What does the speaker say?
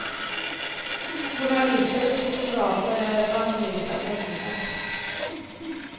Journalister och fotografer är bannlysta i fängelset.